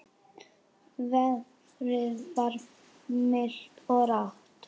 Veðrið var milt og rakt.